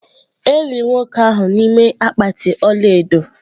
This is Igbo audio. E liri nwoke ahụ n’ime akpatị ọla edo.